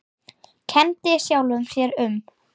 Kenndi sjálfum sér um.